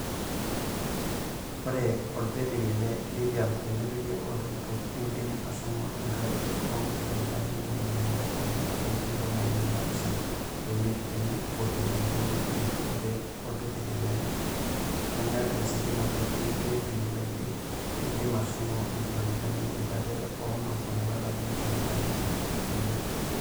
Oree olbetiri le Lithium tenepiki oltukutuk neidim ashomo enkadori oonkilomitani ntomoni ile ometabaik ntomoni naapishana oimiet teiniputi enkima pii oree olbetiri legarii ositima e T3 BYD neidim ashomo inkilomitani iip are oonom ometabaiki inkilomitani iip unii.